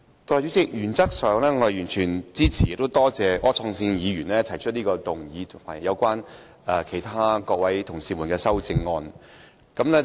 代理主席，原則上，我完全支持並多謝柯創盛議員提出的這項議案及其他同事提出的修正案。